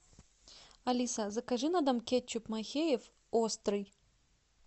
алиса закажи на дом кетчуп махеев острый